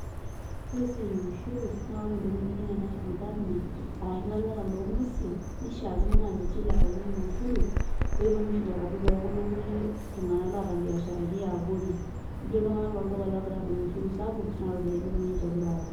Ore esiai e ushuru, na ore ntokiting naijo ne National Government, arashu ilaleta long'uesin, nishaakino na ninche ilepakinyeki ushuru, petum ushuru atadou tokulo kulie tung'anak loota biasharani eabori. Eji iltung'anak lolduka egirai adung' ushuru sapuk, na ropiyiani kunyik egira nche atum.